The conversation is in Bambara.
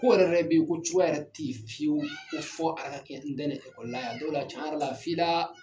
Ko yɛrɛ yɛrɛ be yen ko cogoya yɛrɛ ten fiyewu ko fɔ ala kɛ n dɛmɛ o la, n'o kɛ la cɛn yɛrɛ la f'i la